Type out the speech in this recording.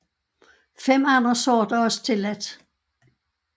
Fem andre sorter er også tilladt